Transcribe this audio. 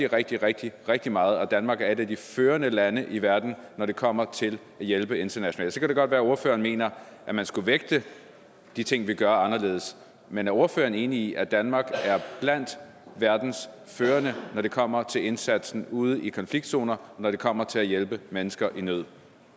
rigtig rigtig rigtig meget og at danmark er et af de førende lande i verden når det kommer til at hjælpe internationalt så kan det godt være at ordføreren mener at man skulle vægte de ting vi gør anderledes men er ordføreren enig i at danmark er blandt verdens førende når det kommer til indsatsen ude i konfliktzoner når det kommer til at hjælpe mennesker i nød